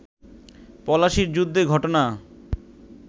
পলাশির যুদ্ধে ঘটনা